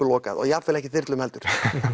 lokað og jafnvel ekki þyrlum heldur